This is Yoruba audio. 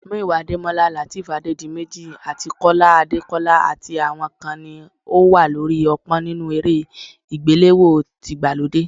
Muyiwa Adémọ́lá, Lateef Adédiméjì and Kọ́lá Adékọ́lá àti àwọn kan ni ó wà lórí ọ̀pọ́n nínú eré àgbéléwò tìgbàlódé